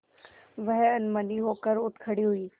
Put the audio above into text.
वह अनमनी होकर उठ खड़ी हुई